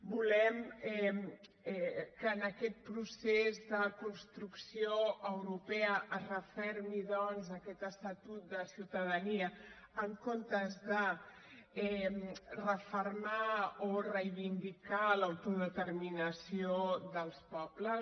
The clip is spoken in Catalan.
volem que en aquest procés de construcció europea es refermi aquest estatut de ciutadania en comptes de refermar o reivindicar l’autodeterminació dels pobles